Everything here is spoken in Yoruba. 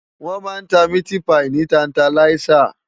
Wòn má n tá miti páyi ni tántáláyisá